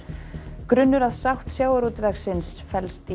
grunnur að sátt sjávarútvegsins felst í